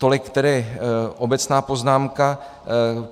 Tolik tedy obecná poznámka.